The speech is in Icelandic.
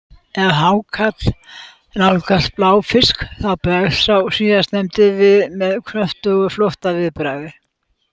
Ef hákarl nálgast bláfisk þá bregst sá síðarnefndi við með kröftugu flóttaviðbragði.